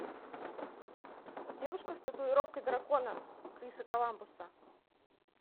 девушка с татуировкой дракона криса коламбуса